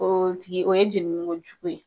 O tigi o ye jenini ko jugu ye.